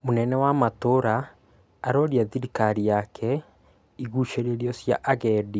Mũnene wa matũra aroria thirikari yaake igũcĩrĩrio cia agendi